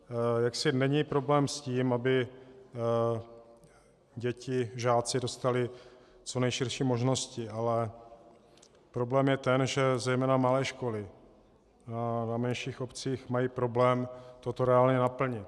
Jaksi není problém s tím, aby děti, žáci dostali co nejširší možnosti, ale problém je ten, že zejména malé školy na menších obcích mají problém toto reálně naplnit.